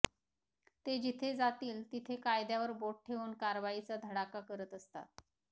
ते जिथे जातील तिथे कायद्यावर बोट ठेवून कारवाईचा धडाका करत असतात